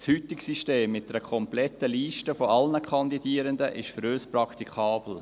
Das heutige System mit einer kompletten Liste aller Kandidierenden ist für uns praktikabel.